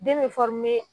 Den bɛ